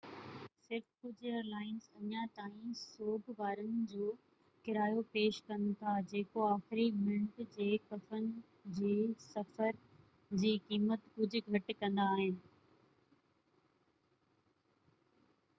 صرف ڪجهہ airlines اڃا تائين سوگ وارن جو ڪرايو پيش ڪن ٿا جيڪو آخري منٽ جي ڪفن جي سفر جي قيمت ڪجهہ گهٽ ڪندا آهن